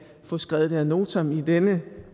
få taget det ad notam i denne